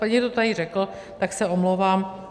Někdo to tady řekl, tak se omlouvám.